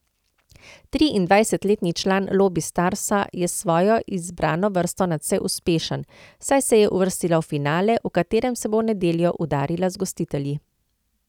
Triindvajsetletni član Lobi Starsa je s svojo izbrano vrsto nadvse uspešen, saj se je uvrstila v finale, v katerem se bo v nedeljo udarila z gostitelji.